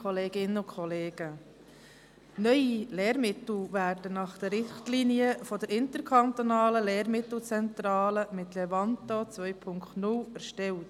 Neue Lehrmittel werden nach den Richtlinien der ILZ mit Levanto 2.0 erstellt.